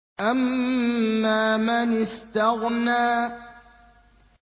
أَمَّا مَنِ اسْتَغْنَىٰ